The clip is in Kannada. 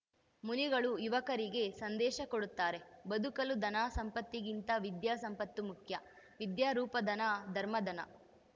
ಮುನಿಗಳು ಯುವಕರಿಗೆ ಸಂದೇಶ ಕೊಡುತ್ತಾರೆ ಬದುಕಲು ಧನ ಸಂಪತ್ತಿಗಿಂತ ವಿದ್ಯಾ ಸಂಪತ್ತು ಮುಖ್ಯ ವಿದ್ಯಾರೂಪಧನ ಧರ್ಮಧನ